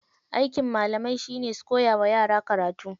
Aikin malamai shine su koya wa yara karatu.